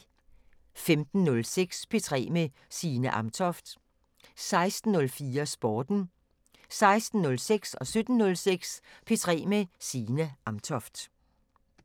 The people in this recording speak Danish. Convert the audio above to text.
15:06: P3 med Signe Amtoft 16:04: Sporten 16:06: P3 med Signe Amtoft 17:06: P3 med Signe Amtoft